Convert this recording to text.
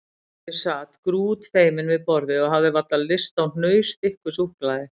Ég sat grútfeiminn við borðið og hafði varla lyst á hnausþykku súkkulaði.